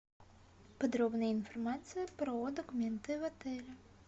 подробная информация про документы в отеле